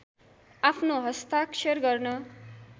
आफ्नो हस्ताक्षर गर्न